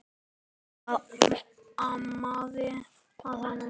Hvað amaði að honum?